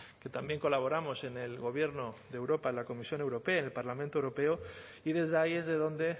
que también colaboramos en el gobierno de europa en la comisión europea en el parlamento europeo y desde ahí es de donde